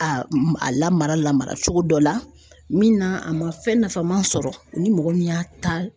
A a lamara lamara cogo dɔ la min na a ma fɛn nafama sɔrɔ u ni mɔgɔ min y'a ta.